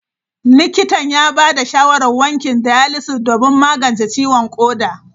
Likitan ya ba da shawarar wankin dialysis don magance ciwon koda.